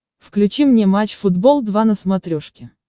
включи мне матч футбол два на смотрешке